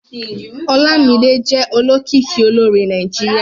Olámídé jẹ́ olókìkí olórin Nàìjíríà